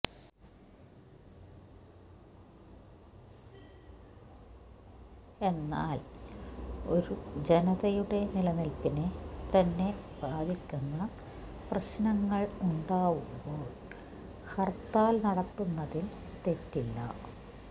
എന്നാൽ ഒരു ജനതയുടെ നിലനിൽപ്പിനെ തന്നെ ബാധിക്കുന്ന പ്രശ്നങ്ങൾ ഉണ്ടാവുമ്പോൾ ഹർത്താൽ നടത്തുന്നതിൽ തെറ്റില്ല